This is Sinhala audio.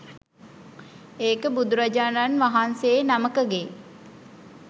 ඒක බුදුරජාණන් වහන්සේ නමකගේ.